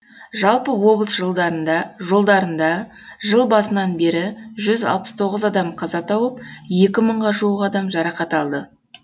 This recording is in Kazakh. жалпы облыс жолдарында жыл басынан бері жүз алпыс тоғыз адам қаза тауып екі мыңға жуық адам жарақат алды